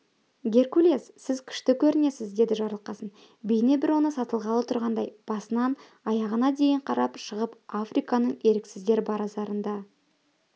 геркулес сіз күшті көрінесіз деді жарылқасын бейне бір оны сатылғалы тұрғандай басынан аяғына дейін қарап шығып африканың еріксіздер базарында